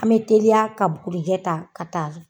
An mɛ teliya ka bugurijɛ ta ka taa